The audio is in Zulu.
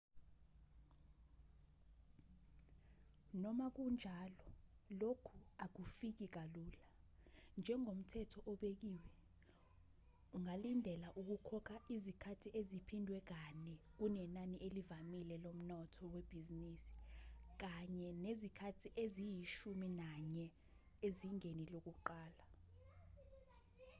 noma kunjalo lokhu akufiki kalula njengomthetho obekiwe ungalindela ukukhokha izikhathi eziphindwe kane kunenani elivamile lomnotho webhizinisi kanye nezikhathi eziyishumi nanye ezingeni lokuqala